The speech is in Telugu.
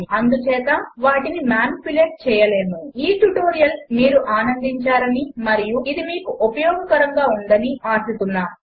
అందుచేత వాటిని మానిప్యులేట్ చేయలేము ఈ ట్యుటోరియల్ మీరు ఆనందించారని మరియు ఇది మీకు ఉపయోగకరముగా ఉందని ఆశిస్తున్నాము